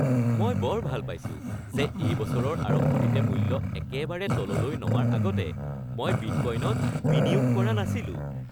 মই বৰ ভাল পাইছো যে এই বছৰৰ আৰম্ভণিতে মূল্য একেবাৰে তললৈ নমাৰ আগতে মই বিটকোইনত বিনিয়োগ কৰা নাছিলোঁ।